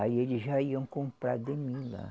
Aí eles já iam comprar de mim lá.